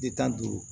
De tan duuru